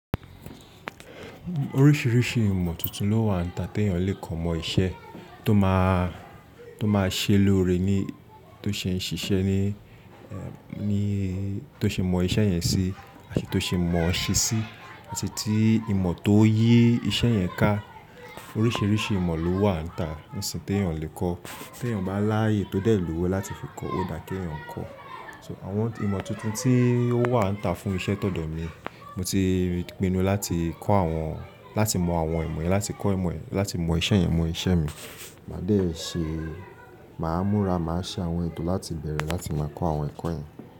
Oríṣìíríṣìí ìmọ̀ tuntun ló wà níta tí èèyàn lè kọ́ mọ iṣẹ́ tó máa, tó máa ṣe lóore ẹni tó ṣe ń ṣiṣẹ́ ní, ní tó ṣe mọ iṣẹ́ yẹn sí àti tó ṣe mọ̀ ọ́ ṣe sí àti tí ìmọ̀ tó yí iṣẹ́ yẹn ká. Oríṣìíríṣìí ìmọ̀ ló wà níta níṣín tí èèyàn lè kọ́. Tí èèyàn bá láàyè tó dẹ̀ lówó láti fi kọ́ ó dà kí èèyàn kọ́. So àwọn ìmọ̀ tuntun tí ó wà níta fún iṣẹ́ todò mi, mo ti pinu láti kọ́ àwọn, láti mọ àwọn ìmọ̀ yẹn, láti kọ́ ìmọ̀, láti mọ iṣẹ́ yẹn, mọ iṣẹ́ mi. Máa dẹ̀ ṣe, màá múra, màá ṣe àwọn ètò láti bẹ̀rẹ̀ láti máa kọ́ àwọn ẹ̀kọ́ yẹn.